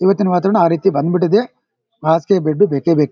ಇವತ್ತಿನ್ ವಾತಾವರಣ ಆ ರೀತಿ ಬಂದ್ಬಿಟ್ಟಿದೆ ಆಸ್ತಿ ದುಡ್ಡು ಬೇಕೇ ಬೇಕು.